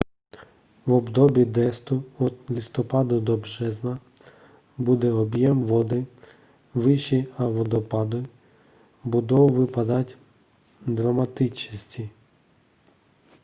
v období dešťů od listopadu do března bude objem vody vyšší a vodopády budou vypadat dramatičtěji